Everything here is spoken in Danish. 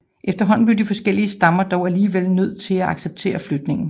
Efterhånden blev de forskellige stammer dog alligevel nødt til at acceptere flytningen